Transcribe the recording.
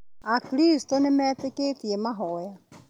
Akristo nĩmetĩkĩtie mahoya